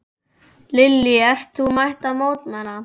Lillý: Ert þú mætt til að mótmæla?